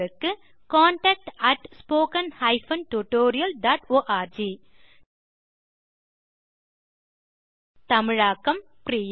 contact at spoken hyphen tutorial dot org தமிழாக்கம் பிரியா